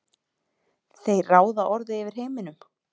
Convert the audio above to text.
þeir ráða orðið yfir heiminum.